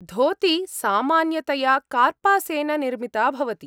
धोती सामान्यतया कार्पासेन निर्मिता भवति।